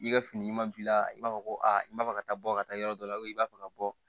I ka fini ɲuman b'i la i b'a fɔ ko a i b'a fɛ ka taa bɔ ka taa yɔrɔ dɔ la i b'a fɛ ka bɔ